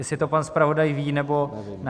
Jestli to pan zpravodaj ví, nebo ne.